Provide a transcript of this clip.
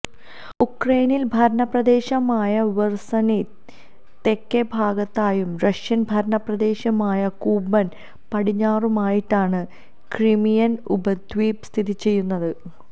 Ukrainian ഭരണപ്രദേശമായ ഖെർസണിന് തെക്ക് ഭാഗത്തായും റഷ്യൻ ഭരണപ്രദേശമായ കൂബൻ പടിഞ്ഞാറുമായിട്ടാണ് ക്രിമിയൻ ഉപദ്വീപ് സ്ഥിതിചെയ്യുന്നത്